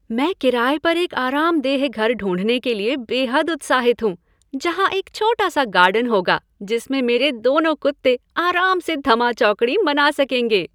मैं किराए पर एक आरामदेह घर ढूँढने के लिए बेहद उत्साहित हूँ, जहां एक छोटा सा गार्डन होगा जिसमें मेरे दोनों कुत्ते आराम से धमा चौकड़ी मना सकेंगे।